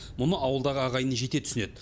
мұны ауылдағы ағайын жете түсінеді